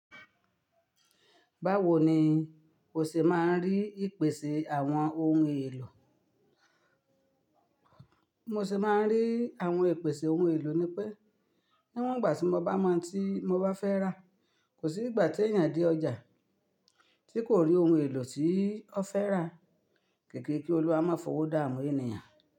Báwo ni o ṣe máa ń rí ìpèsè àwọn ohun èlò? Bi mo ṣe máa ń rí àwọn ìpèsè ohun èlò ni pé, níwọ́n ìgbà tí mo bá mọ ohun tí mo bá fẹ́ rà, kò sí ìgbà tí èèyàn dé ọjà tí kò rí ohun èlò tí ó fẹ́ rà. Kiki kí Olúwa má fowó dáàmú ènìyàn.